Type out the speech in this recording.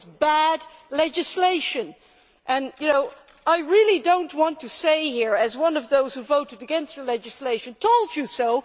It was bad legislation and I really do not want to say, as one of those who voted against the legislation, told you so!'